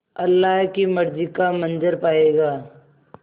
अल्लाह की मर्ज़ी का मंज़र पायेगा